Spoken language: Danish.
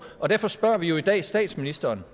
og derfor spørger vi jo i dag statsministeren